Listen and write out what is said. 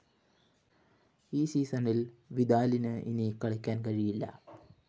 ഈ സീസണില്‍ വിദാലിന് ഇനി കളിക്കാന്‍ കഴിയില്ല